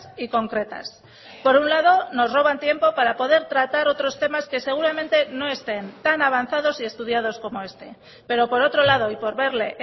y concretas por un lado nos roban tiempo para poder tratar otros temas que seguramente no estén tan avanzados y estudiados como este pero por otro lado y por verle